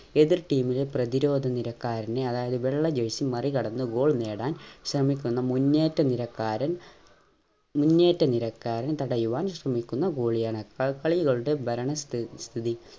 എതിർ team ലെ പ്രതിരോധ നിരക്കാരനെ അതായത് വെള്ള jersey മറികടന്ന് goal നേടാൻ ശ്രമിക്കുന്ന മുന്നേറ്റ നിരക്കാരൻ മുന്നേറ്റ നിരക്കാരൻ തടയുവാൻ ശ്രമിക്കുന്ന goalie യാണ് കളികളുടെ ഭരണസ്ഥി സ്ഥിതി